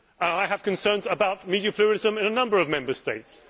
I have concerns about media pluralism in a number of Member States.